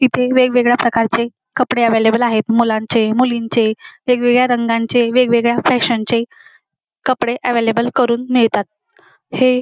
इथे वेगवेगळ्या प्रकारचे कपडे अव्हेलेबल आहे मुलांचे मुलींचे वेगवेगळ्या रंगांचे वेगवेगळ्या फॅशनचे कपडे अव्हेलेबल करून मिळतात हे --